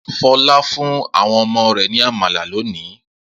Fọlá fún àwọn ọmọ rẹ̀ ní àmàlà lónìí?